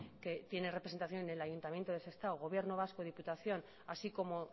que tiene representación en el ayuntamiento de sestao gobierno vasco diputación así como